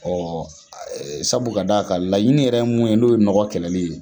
Sabu ka d'a kan laɲini yɛrɛ ye mun ye n'o ye mɔgɔ kɛlɛli ye